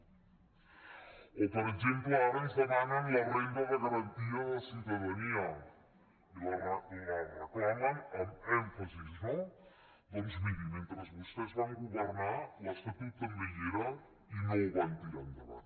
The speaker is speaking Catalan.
o per exemple ara ens demanen la renda de garantia de ciutadania i la reclamen amb èmfasi no doncs mirin mentre vostès van governar l’estatut també hi era i no ho van tirar endavant